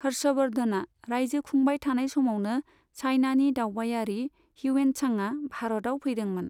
हर्षवर्धना रायजो खुंबाय थानाय समावनो चाइनानि दावबायारि हिवेन्टचांआ भारताव फैदोंमोन।